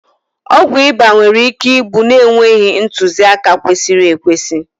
ọgwụ ịba nwere ike ịgbụ na-enweghị ntuziaka kwesịrị ekwesị